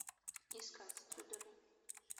искать тюдоры